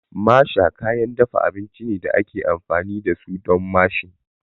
Masher kayan dafa abinci ne da ake amfani da su don mashing